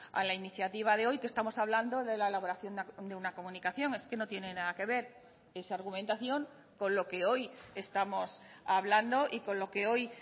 a la iniciativa de hoy que estamos hablando de la elaboración de una comunicación es que no tiene nada que ver esa argumentación con lo que hoy estamos hablando y con lo que hoy